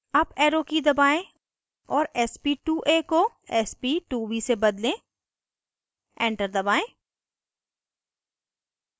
up arrow की दबाएं और sp2a को sp2b से बदलें एंटर दबाएं